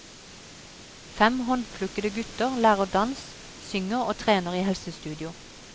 Fem håndplukkede gutter lærer dans, synger og trener i helsestudio.